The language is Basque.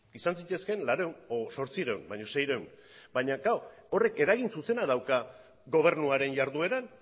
izan zitezkeen laurehun o zortziehun baino seiehun baina klaro horrek eragin zuzena dauka gobernuaren jardueran